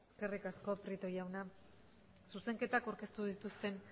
eskerrik asko prieto jauna zuzenketak aurkeztu dituzten